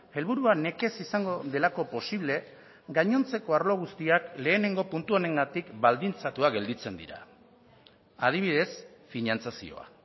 helburua nekez izango delako posible gainontzeko arlo guztiak lehenengo puntu honengatik baldintzatua gelditzen dira adibidez finantzazioa